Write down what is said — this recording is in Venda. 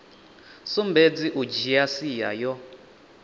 sumbedzi u dzhia sia yo